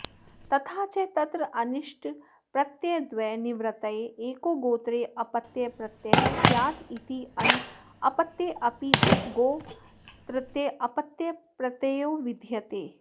तथाच तत्रानिष्टप्रत्ययद्वयनिवृत्तये एको गोत्रे अपत्यप्रत्ययः स्यादित्यनपत्येऽपि उपगोस्तृतीये अपत्यप्रत्ययो विधीयते